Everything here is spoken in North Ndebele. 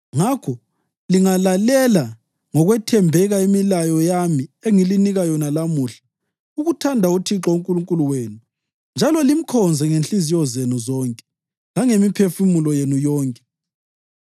Ngakho lingalalela ngokwethembeka imilayo yami engilinika yona lamuhla, ukuthanda uThixo uNkulunkulu wenu njalo limkhonze ngenhliziyo zenu zonke, langemiphefumulo yenu yonke,